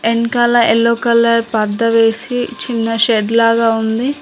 వెనకాల yellow colour పరదా వేసి చిన్న షెడ్ లాగా ఉంది.